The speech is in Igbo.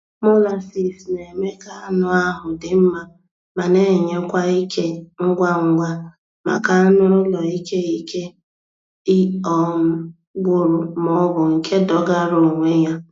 Molasses na-eme ka anụ ahụ dị mma ma na-enye kwa ike ngwa ngwa maka anụ ụlọ ike ike um gwụrụ maọbụ nke dọgara onwe ya